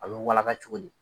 A bi walaga cogo di ?